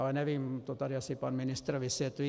Ale nevím, to tady asi pan ministr vysvětlí.